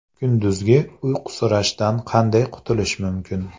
Kunduzgi uyqusirashdan qanday qutulish mumkin?.